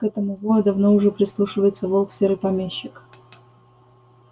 к этому вою давно уже прислушивается волк серый помещик